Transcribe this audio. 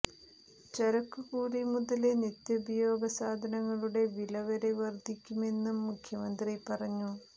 ചരക്കുകൂലി മുതല് നിത്യോപയോഗ സാധനങ്ങളുടെ വില വരെ വര്ധിക്കുമെന്നും മുഖ്യമന്ത്രി പറഞ്ഞു